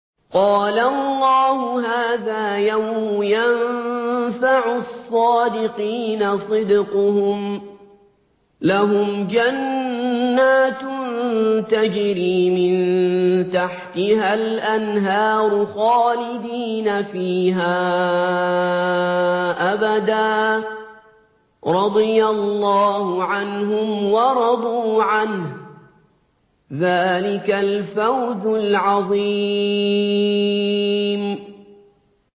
قَالَ اللَّهُ هَٰذَا يَوْمُ يَنفَعُ الصَّادِقِينَ صِدْقُهُمْ ۚ لَهُمْ جَنَّاتٌ تَجْرِي مِن تَحْتِهَا الْأَنْهَارُ خَالِدِينَ فِيهَا أَبَدًا ۚ رَّضِيَ اللَّهُ عَنْهُمْ وَرَضُوا عَنْهُ ۚ ذَٰلِكَ الْفَوْزُ الْعَظِيمُ